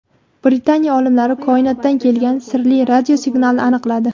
Britaniya olimlari koinotdan kelgan sirli radiosignalni aniqladi.